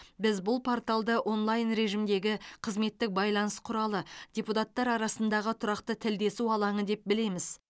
біз бұл порталды онлайн режимдегі қызметтік байланыс құралы депутаттар арасындағы тұрақты тілдесу алаңы деп білеміз